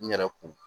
N yɛrɛ kun